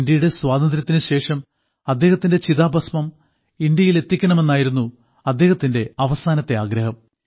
ഇന്ത്യയുടെ സ്വാതന്ത്ര്യത്തിനുശേഷം അദ്ദേഹത്തിന്റെ ചിതാഭസ്മം ഇന്ത്യയിലെത്തിക്കണമെന്നായിരുന്നു അദ്ദേഹത്തിന്റെ അവസാനത്തെ ആഗ്രഹം